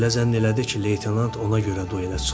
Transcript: elə zənn elədi ki, leytenant ona görə duelə çıxıb.